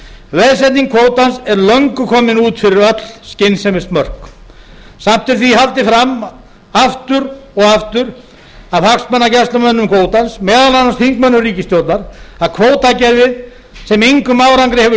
veðsetning kvótans er löngu komin út fyrir öll skynsemismörk samt er því haldið fram aftur og aftur af hagsmunagæslumönnum kvótans meðal annars þingmönnum ríkisstjórnar að kvótakerfið sem engum árangri hefur